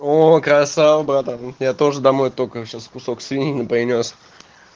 ооо красава братан я тоже домой только сейчас кусок свинины принёс